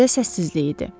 Küçədə səssizlik idi.